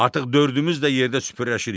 Artıq dördümüz də yerdə süpürləşirik.